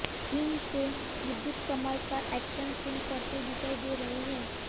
film में विद्युत कमाल का एक्शन सीन करते दिखाई दे रहे हैं